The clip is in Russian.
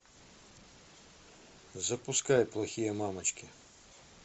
запускай плохие мамочки